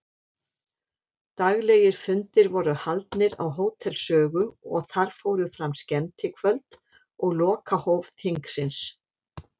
Daglegir fundir voru haldnir á Hótel Sögu og þar fóru fram skemmtikvöld og lokahóf þingsins.